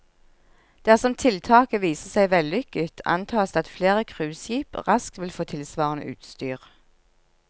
Dersom tiltaket viser seg vellykket, antas det at flere cruiseskip raskt vil få tilsvarende utstyr.